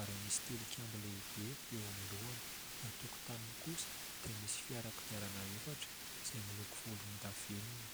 ary misy tilikambo lehibe eo amin'ny lohany ; ny tokotaniny kosa dia misy fiara kodiarana efatra izay miloko volondavenona.